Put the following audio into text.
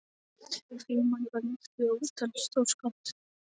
Frímanni var líkt við ótal stórskáld.